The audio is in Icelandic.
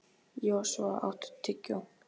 Joshua, áttu tyggjó?